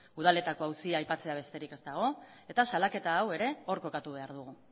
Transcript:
udaletako auzia aipatzea besterik ez dago eta salaketa hau ere hor kokatu behar dugu